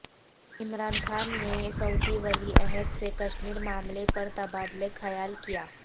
عمران خان نے سعودی ولی عہد سے کشمیر معاملے پر تبادلہ خیال کیا